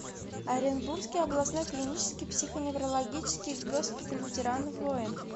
оренбургский областной клинический психоневрологический госпиталь ветеранов войн